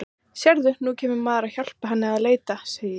Sérðu, nú kemur maðurinn að hjálpa henni að leita, segi ég.